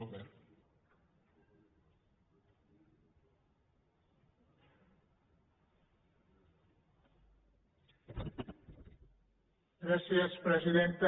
gràcies presidenta